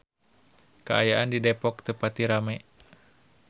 Kaayaan di Depok teu pati rame